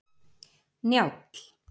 Njáll